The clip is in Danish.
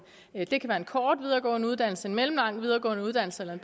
kort videregående uddannelse en mellemlang videregående uddannelse eller